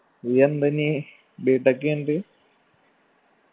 ഇനി എന്ത ഇനി b. tech കഴിഞ്ഞിട്ട്